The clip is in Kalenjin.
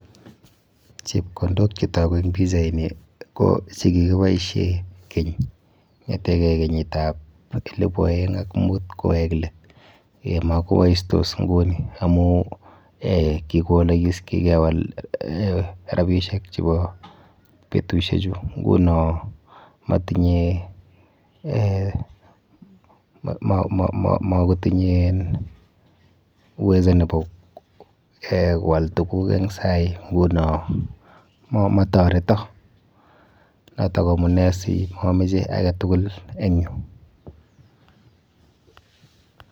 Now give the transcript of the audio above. Chepkondok chetoku eng pichaini ko chekikiboishe keny ng'eteke kenyitab elebu aeng ak mut kowek let. Makoboistos nguni amu eh kikowolokis, kikewal rapishek chepo betushechu nguno matinye eh makotinye en uwezo nepo eh koal tuguk en sai nguno motoreto. Noto amune si mamoche ake tugul en yu,.